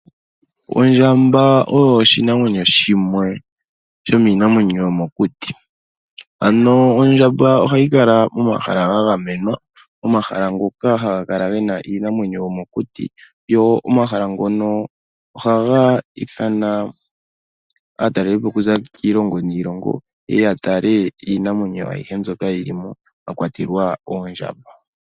Ondjamba oyo oshinamwenyo shimwe shomiinamwenyo yomokuti, ano ondjamba ohayi kala momahala gagamenwa omahala ngoka haga kala gena iinamwenyo yomokuti yo omahala ngono ohaga ithana aataleli po okuza kiilongo niilongo yeye yatale iinamwenyo ayihe mbyoka yilimo mwakwatelwa oondjamba.